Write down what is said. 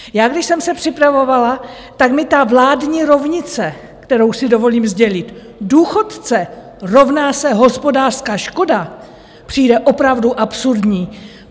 Já když jsem se připravovala, tak mi ta vládní rovnice, kterou si dovolím sdělit - důchodce rovná se hospodářská škoda - přijde opravdu absurdní.